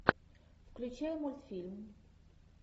включай мультфильм